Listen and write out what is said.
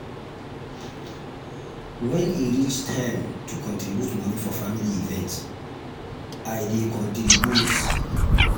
wen um e reach time um to contribute moni for family event i um dey contribute.